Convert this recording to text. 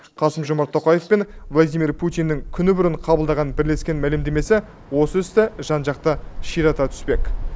қасым жомарт тоқаев пен владимир путиннің күні бұрын қабылдаған бірлескен мәлімдемесі осы істі жан жақты ширата түспек